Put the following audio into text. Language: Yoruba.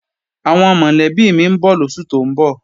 Àwọn mọ̀lẹ́bí mi ń bọ̀ lóṣù tó ń bọ̀